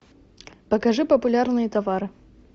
покажи популярные товары